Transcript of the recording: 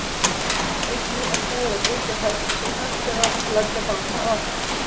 einnig er búið að byggja höfn sem hægt er að leggja báta að